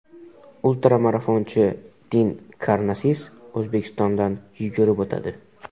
Ultra-marafonchi Din Karnasis O‘zbekistondan yugurib o‘tadi.